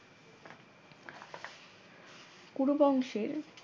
কুরু বংশের